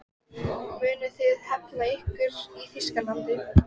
Munuð þið hefna ykkar í Þýskalandi?